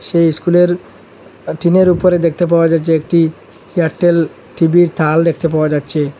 সেই ইস্কুলের আঃ টিনের উপরে দেখতে পাওয়া যাচ্ছে একটি এয়ারটেল টিভির থাল দেখতে পাওয়া যাচ্ছে।